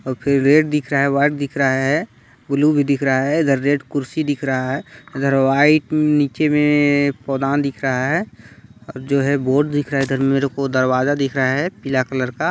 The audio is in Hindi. और फिर रेड दिख रहा हैं वाइट दिख रहा है ब्लू भी दिख रहा है इधर रेड कुर्सी दिख रहा हैं इधर वाइट नीचे में पोदान दिख रहा हैं जो है बोड दिख रहा है इधर मेरे को दरवाजा दिख रहा हैं पीला कलर का--